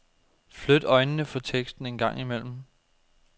Flyt øjnene fra teksten en gang imellem.